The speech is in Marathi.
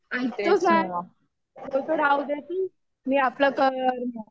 मी आपलं करियर